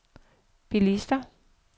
bilister